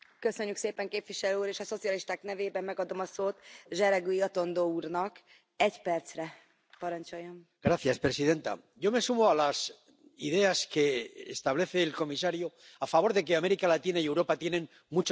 Señora presidenta, yo me sumo a las ideas que establece el comisario a favor de que América Latina y Europa tienen mucho que hacer juntas.